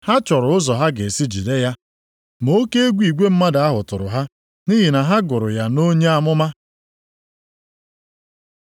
Ha chọrọ ụzọ ha ga-esi jide ya, ma oke egwu igwe mmadụ ahụ tụrụ ha, nʼihi na ha gụrụ ya nʼonye amụma.